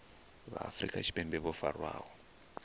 vha afrika tshipembe vho farwaho